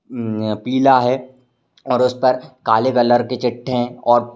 हम्म्म पीला है और उस पर काले कलर के चिट्टे हैं और --